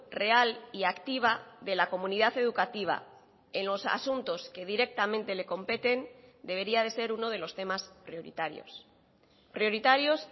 real y activa de la comunidad educativa en los asuntos que directamente le competen debería de ser uno de los temas prioritarios prioritarios